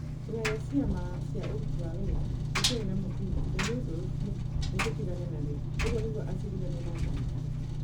ĩhoya rĩa ciama cia ũruti wa wira rĩtiarĩ na mũthingi na nĩ ũndũ ũcio nĩtũgĩtigana narĩo", ũguo nĩguo acirithania maaciririe.